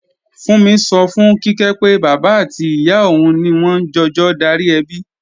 Fúnmi sọ fún Kíkẹ́ pé, bàbá àti ìyá òun ni wọ́n ń jọjọ darí ẹbi